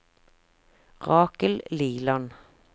Rakel Liland